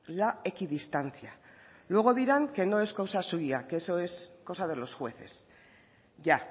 la equidistancia luego dirán que no es cosa suya que eso es cosa de los jueces ya